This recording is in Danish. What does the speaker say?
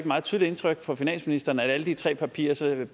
meget stort indtryk på finansministeren at alle de tre partier sådan